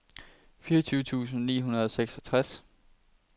fireogtyve tusind ni hundrede og seksogtres